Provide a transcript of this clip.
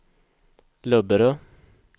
Löberöd